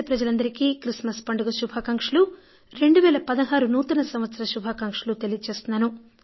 దేశ ప్రజలందరికీ క్రిస్మస్ పండుగ శుభాకాంక్షలూ 2016 నూతన సంవత్సర శుభాకాంక్షలూ తెలియజేస్తున్నాను